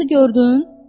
Qızı gördün?